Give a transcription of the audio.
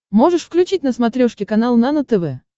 можешь включить на смотрешке канал нано тв